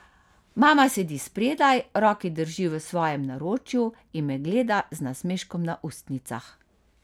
Mama sedi spredaj, roki drži v svojem naročju in me gleda z nasmeškom na ustnicah.